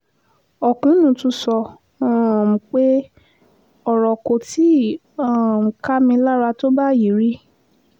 ọ̀kúnnù tún sọ um pé ọ̀rọ̀ kò tí ì um ká mi lára tó báyìí rí